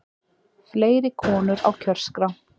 Fleiri konur á kjörskrá